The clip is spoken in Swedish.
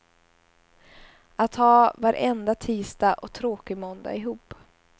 Att ha varenda tisdag och tråkig måndag ihop.